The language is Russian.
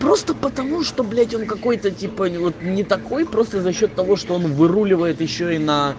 просто потому что блять он какой-то типа вот не такой просто за счёт того что он выруливает ещё и на